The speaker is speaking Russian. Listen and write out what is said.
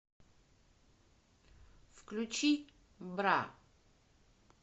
включи бра